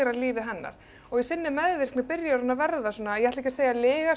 lífið hennar og í sinni meðvirkni byrjar hún að verða svona ég ætla ekki að segja